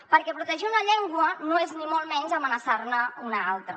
perquè protegir una llengua no és ni molt menys amenaçar ne una altra